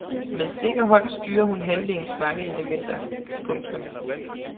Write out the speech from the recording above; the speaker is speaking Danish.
Med sikker hånd styrer hun handlingens mange elementer. punktum